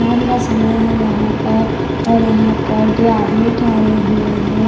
शाम का समय है यहां पर और यहां पर दो आदमी ठहरे हुए हैं।